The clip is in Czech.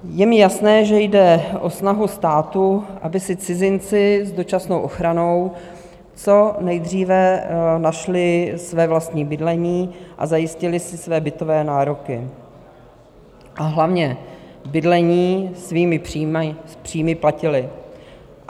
Je mi jasné, že jde o snahu státu, aby si cizinci s dočasnou ochranou co nejdříve našli své vlastní bydlení a zajistili si své bytové nároky, a hlavně bydlení svými příjmy platili.